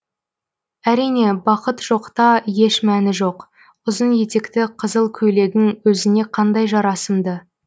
әрине бақыт жоқта еш мәні жоқ ұзын етекті қызыл көйлегің өзіңе қандай жарасымды